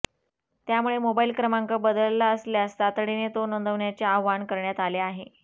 त्यामुळे मोबाइल क्रमांक बदलला असल्यास तातडीने तो नोंदवण्याचे आवाहन करण्यात आले आहे